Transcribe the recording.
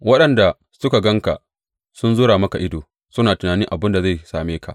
Waɗanda suka gan ka sun zura maka ido, suna tunani abin da zai same ka.